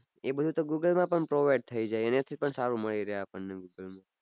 એ બઘુ તો google માં પન provide થઈ જાય એના થી પન સારું મળી રહે google માં